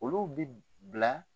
Olu bi bila